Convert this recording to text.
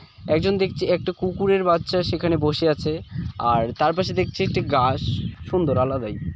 একজন দেখছি একটা কুকুরের বাচ্চা সেখানে বসে আছে। আর তারপর সে দেখছি একটি গাস। সুন্দর আলাদাই।